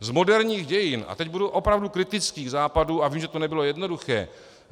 Z moderních dějin - a teď budu opravdu kritický k Západu a vím, že to nebylo jednoduché.